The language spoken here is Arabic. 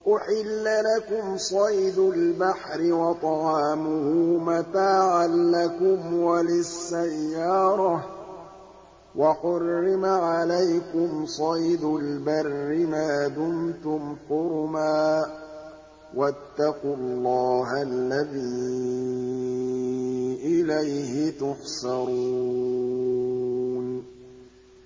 أُحِلَّ لَكُمْ صَيْدُ الْبَحْرِ وَطَعَامُهُ مَتَاعًا لَّكُمْ وَلِلسَّيَّارَةِ ۖ وَحُرِّمَ عَلَيْكُمْ صَيْدُ الْبَرِّ مَا دُمْتُمْ حُرُمًا ۗ وَاتَّقُوا اللَّهَ الَّذِي إِلَيْهِ تُحْشَرُونَ